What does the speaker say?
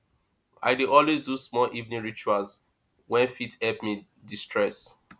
i dey always do small evening rituals wey fit help me destress